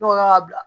ka bila